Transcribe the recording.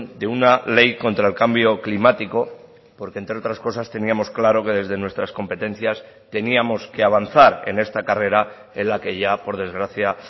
de una ley contra el cambio climático porque entre otras cosas teníamos claro que desde nuestras competencias teníamos que avanzar en esta carrera en la que ya por desgracia